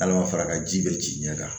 Hal'a ma fara ka ji bɛ ci ɲɛ kan